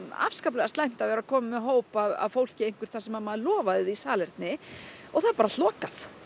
afskaplega slæmt að vera komin með hóp af fólki eitthvert þar sem maður lofaði því salerni og það er bara allt lokað